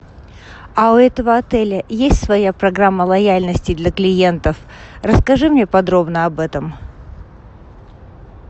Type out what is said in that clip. а у этого отеля есть своя программа лояльности для клиентов расскажи мне подробно об этом